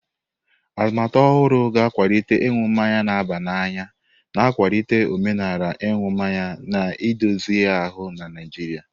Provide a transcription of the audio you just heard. Atụmatụ ọhụrụ ga-akwalite ịṅụ mmanya na-aba n'anya, na-akwalite omenala ịṅụ mmanya na-edozi ahụ na Naijiria.